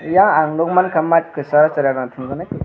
eing ang nugmani mat kachar o cherai rok tungjaaknai.